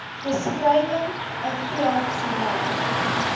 beskrywing n veeartseny